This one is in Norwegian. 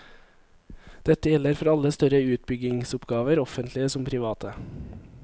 Dette gjelder for alle større utbyggingsoppgaver, offentlige som private.